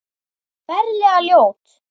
Ferlega ljót.